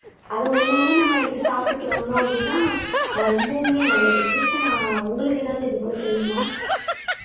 அத ஒண்ணு ஒண்ணு நம்ம எடுத்து சாப்பிட்டுட்டு வந்தோம் அப்படின்னா ஆஹ் ரொம்பவுமே நல்லது தீக்ஷனா உங்களுக்கு எதாவது இது போல தெரியுமா?